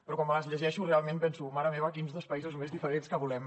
però quan me les llegeixo realment penso mare meva quins dos països més diferents que volem